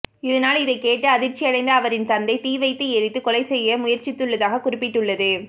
இதனால் இதைக் கேட்டு அதிர்ச்சியடைந்த அவரின் தந்தை தீ வைத்து எரித்து கொலை செய்ய முயற்சித்துள்ளதாக குறிப்பிட்டுள்ளது